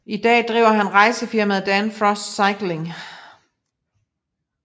I dag driver han rejsefirmaet Dan Frost Cycling